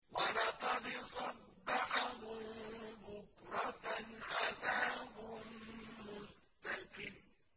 وَلَقَدْ صَبَّحَهُم بُكْرَةً عَذَابٌ مُّسْتَقِرٌّ